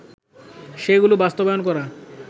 সেগুলো বাস্তবায়ন করা